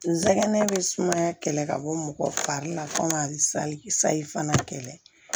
N sɛgɛnnen be sumaya kɛlɛ ka bɔ mɔgɔ fari la fo ka sayi fana kɛlɛ